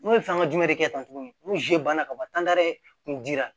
N'u ye fɛn ka dumuni de kɛ tan tuguni n'u banna ka ban kun dira